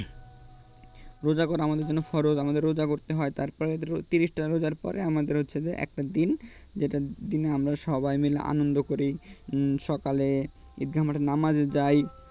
রোজা করা আমাদের জন্য ফরজ আমাদের রোজা করতে হয় তারপরে তিরিশটা রোজার পরে আমাদের হচ্ছে যে একটা দিন যেটা দিনে আমরা সবাই মিলে আনন্দ করি সকালে . নামাজে যাই